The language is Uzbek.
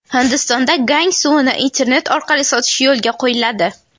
Hindistonda Gang suvini internet orqali sotish yo‘lga qo‘yiladi.